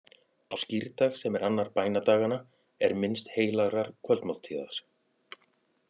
Á skírdag, sem er annar bænadaganna, er minnst heilagrar kvöldmáltíðar.